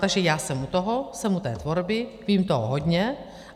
Takže já jsem u toho, jsem u té tvorby, vím toho hodně.